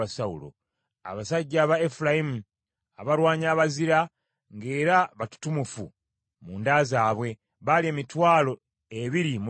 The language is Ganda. abasajja aba Efulayimu, abalwanyi abazira, ng’era batutumufu mu nda zaabwe, baali emitwalo ebiri mu lunaana;